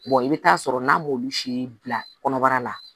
i bɛ taa sɔrɔ n'a m'olu si bila kɔnɔbara la